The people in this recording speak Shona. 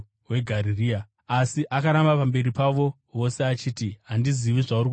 Asi akaramba pamberi pavo vose achiti, “Handizivi zvauri kutaura nezvazvo.”